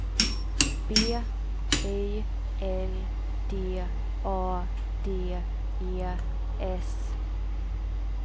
B I L D A D E S